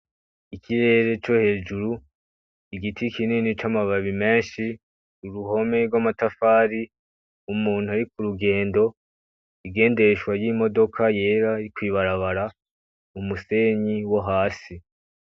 Ikirere co hejuru, igiti kinini camababi menshi ,uruhome rwamatafari umuntu ari kurugendo , ingendeshwa yimodoka yera iri kwibarabara, umusenyi wo hasi .